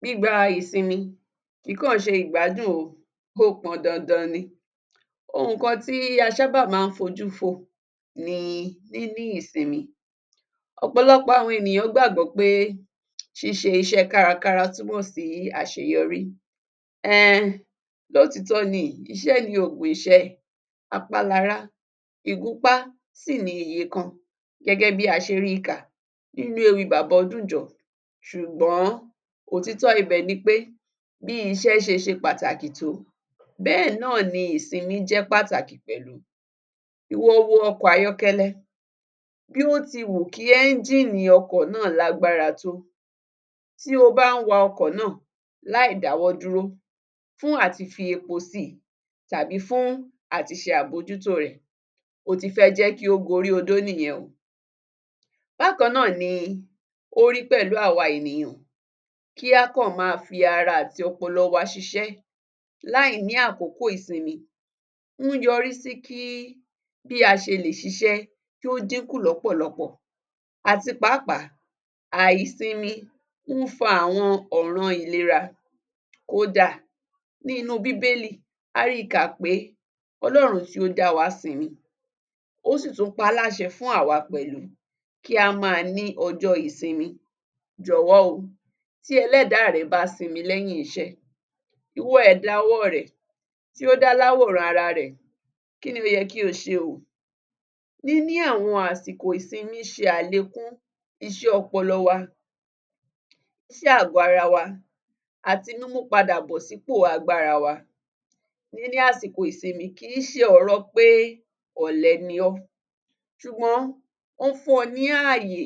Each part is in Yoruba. Gbígba ìsinmi kìí kọ̀ ọ́ ṣe ìgbádun o, ó pọn dandan ni. Ohùn kan tí a sábà má ń fojú fò ni níní ìsinmi. Ọ̀pọ̀lọpọ̀ àwọn ènìyàn gbàgbọ́ pé ṣíṣe iṣẹ́ẹ kárakára túmọ̀ sí àṣeyọrí, ehn lótìítọ́ ni iṣẹ́ ni ògùn ìṣẹ́, apálará ìgúnpá sì ni iyẹ̀kan gẹ́gẹ́ bí a ṣe ríi ka nínú ewìi bàbà Ọdúnjọ ṣùgbọ́n òtítọ́ ibẹ̀ nipé bí iṣẹ́ ṣeṣe pàtàkì tó bẹ́ẹ̀ náà ni ìsinmí jẹ́ pàtàkì pẹ̀lú. Wo ọkọ̀ ayọ́kẹ́lẹ́ bí ó ti wù kí ẹ́ngíìnì ọkọ̀ náà lágbára tó, tí o bań wa ọkọ̀ náà láì dáwọ́ dúró fun àti fi epo sí i tàbí fún àti ṣe abójútóo rẹ̀, o ti fẹ́ jẹ́ kí ó gorí odó nìyẹn o. Bákan náà ni ó rí pẹ̀lú àwa ènìyàn kí a kọ̀ má a fi ara àti ọpọlọ wa ṣiṣẹ́ láìní àkókò ìsinmi ń yọrí sí kí bí a ṣe lè ṣiṣẹ́ kí ó dínkù lọ́pọ̀lọpọ̀ àti pàápàá àìsinmi ń fa àwọn ọ̀ran ìlera. Kódà ní inúu bíbélì a ríi kà pé Ọlọ́run tí ó dá wa sinmi, ó sì tún pa á láṣẹ fún àwa pẹ̀lú kí a má a ní ọjọ́ọ ìsinmi, jọ̀wọ́ o tí Ẹlẹ́dáà rè bá sinmi lẹ́yìn iṣẹ́, ìwọ ẹ̀dá ọwọ́ọ rẹ̀ tí ó dá láwòrán ara rẹ̀, kí ni ó yẹ kí o ṣe o. Níní àwọn àsìkò ìsinmí ṣe àlékún ịṣẹ́ ọpọlọ wa sí àgó ara wa àti mímú padà bọ̀ sípò agbára wa. Níni àsìkò ìsinmi kìí ṣe ọ̀rọ pé ọ̀lẹ ni ọ́ ṣùgbọ́n ón fún ọ ní ààyè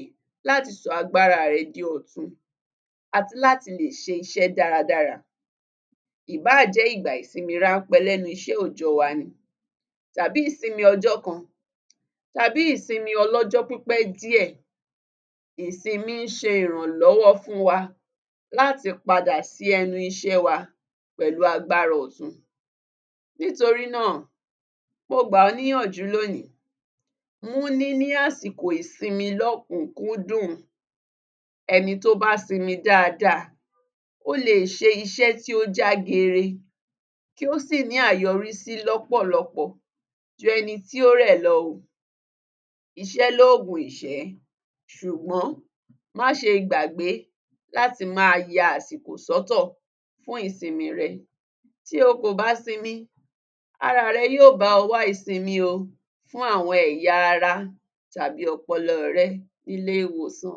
láti sọ agbáraà rẹ di ọ̀tun àti láti lè ṣe iṣẹ́ dáradára. Ìbáà jẹ́ ìgbà ìsinmi ránpé lẹ́nu iṣẹ́ òòjọ́ọ wa ni tàbí ìsinmi ọjọ́ kan tàbí ìsinmi ọlọ́jọ́ pípẹ̀ díẹ̀, ìsinmi ń ṣe ìrànlọ́wọ́ fún wa láti padà sí ẹnu iṣẹ́ẹ wa pẹ̀lú agbára ọ̀tun. Nítorí náà, mo gbà ọ́ níyànjú lónìí mú níní àsìkò ìsinmi lọ́kùn-ún kúndùn, ẹni tó bá sinmi dáada, ó le è ṣe iṣẹ́ tí ó jágere, tí ó sì ní àyọrísí lọ́pọ̀lọpọ̀ ju ẹni tí ó rẹ̀ lọ o. Iṣẹ́ lóògùn ìṣẹ́ ṣùgbọ́n má ṣe gbàgbé láti má a ya àsìkò sọ́tọ̀ fún ìsinmiì rẹ, tí o kò bá sinmi araà rẹ yóò bá ọ wá ìsinmi o fún àwọn ẹ̀yà ara tàbí ọpọlọọ̀ rẹ nílé-ìwòsàn.